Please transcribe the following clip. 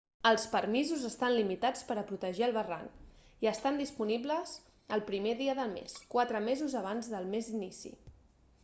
els permisos estan limitats per a protegir el barranc i estan disponibles el 1r dia del mes quatre mesos abans del mes d'inici